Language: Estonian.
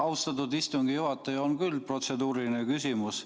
Jah, austatud istungi juhataja, on küll protseduuriline küsimus.